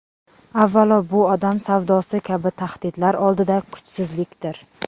Avvalo bu odam savdosi kabi tahdidlar oldida kuchsizlikdir .